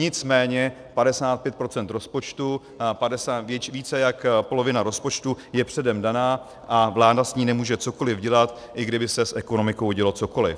Nicméně 55 % rozpočtu, více než polovina rozpočtu je předem daná a vláda s ní nemůže cokoliv dělat, i kdyby se s ekonomikou dělo cokoliv.